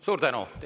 Suur tänu!